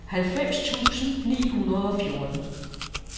halvfems tusind ni hundrede og fjorten